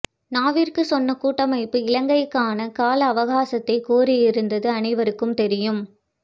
நாவிற்கு சென்ற கூட்டமைப்பு இலங்கைக்கான கால அவகாசத்தை கோரியிருந்தது அனைவருக்கும் தெரியும்